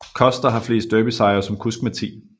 Koster har flest derbysejre som kusk med 10